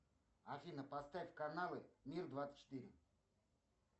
афина поставь каналы мир двадцать четыре